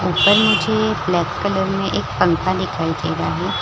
ऊपर मुझे black colour में एक पंखा दिखाई दे रहा है ।